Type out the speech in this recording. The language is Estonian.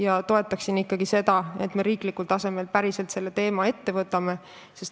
Ma toetan ikkagi seda, et me riiklikul tasemel päriselt selle teema ette võtame.